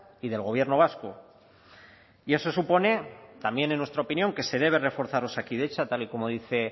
y del gobierno vasco y eso supone también en nuestra opinión que se debe reforzar osakidetza tal y como dice